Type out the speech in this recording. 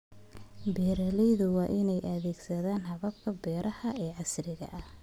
Beeraleydu waa inay adeegsadaan hababka beeraha ee casriga ah.